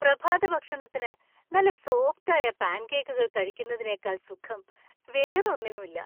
പ്രഭാതഭക്ഷണത്തിന് നല്ല സോഫ്റ്റ് ആയ പാൻകേക്കുകൾ കഴിക്കുന്നതിനേക്കാൾ സുഖം വേറെ ഒന്നിനുമില്ല.